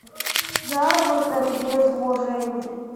заработок без вложений